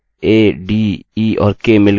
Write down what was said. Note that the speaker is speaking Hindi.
आप इसी तरह से सरनेम में भी कर सकते हैं